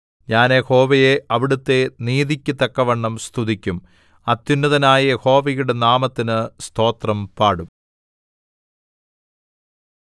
ഞാൻ യഹോവയെ അവിടുത്തെ നീതിക്കു തക്കവണ്ണം സ്തുതിക്കും അത്യുന്നതനായ യഹോവയുടെ നാമത്തിന് സ്തോത്രം പാടും